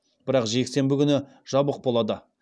бірақ жексенбі күні жабық болады